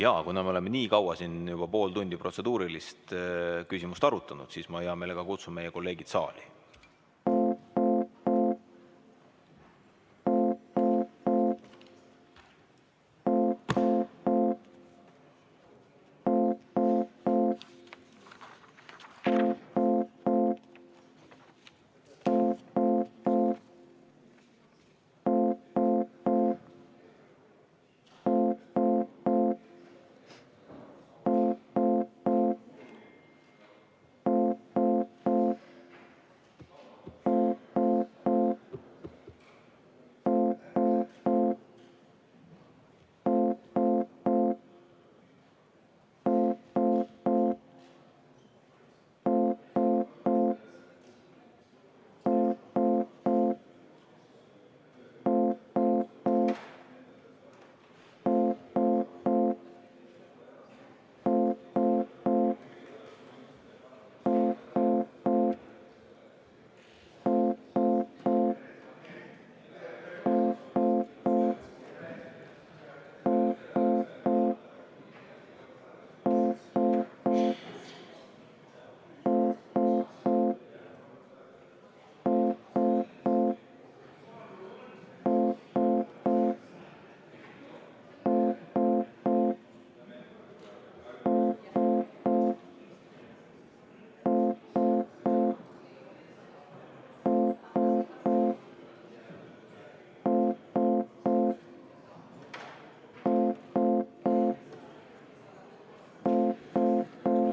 Aga kuna me oleme nii kaua, juba pool tundi protseduurilisi küsimust arutanud, siis ma hea meelega kutsun kõigepealt meie kolleegid saali.